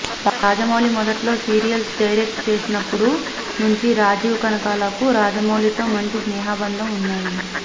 రాజమౌళి మొదట్లో serials direct చేసినప్పుడు నుంచి రాజీవ్ కనకాలకు రాజమౌళితో మంచి స్నేహబంధం ఉన్నది